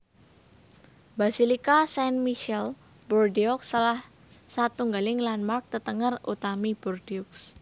Basilika Saint Michel Bordeaux salah satunggaling landmark tetenger utami Bordeaux